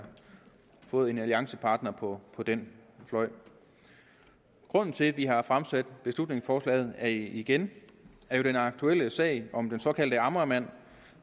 fået en alliancepartner på den fløj grunden til at vi har fremsat beslutningsforslaget igen er jo den aktuelle sag om den såkaldte amagermand